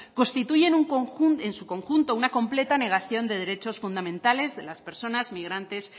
constituyen en su conjunto una completa negación de derechos fundamentales de las personas migrantes